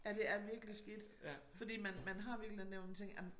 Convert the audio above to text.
Ja det er virkelig skidt fordi man man har virkelig den der nogen ting ej men